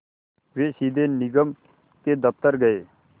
वे सीधे निगम के दफ़्तर गए